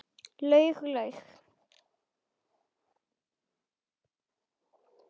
Laug og laug.